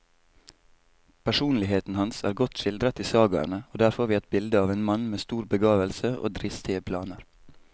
Personligheten hans er godt skildret i sagaene, og der får vi et bilde av en mann med stor begavelse og dristige planer.